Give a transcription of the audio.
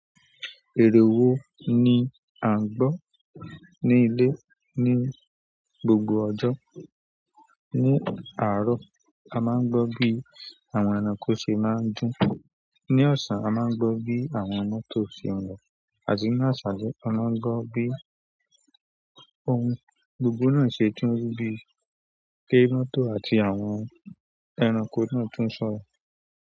Èrè wo ni à ń gbọ́ ní ilé ní gbogbo ọjọ́? Ní àárọ̀, a máa ń gbọ́ bí àwọn ẹranko ṣe máa ń dún. Ni ọ̀sán, a máa ń gbọ́ bí àwọn mọ́tò ṣe ń lọ. Àti ní àṣàlẹ, a máa ń gbọ́ bí ohun gbogbo náà ṣe túń rú bí i pé mọ́tò àti àwọn ẹranko náà tún sọ̀rọ̀.